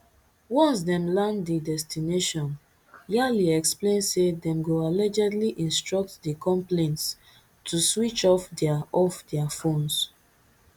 once dem land di destination tyali explain say dem go allegedly instruct di complaints to switch off dia off dia phones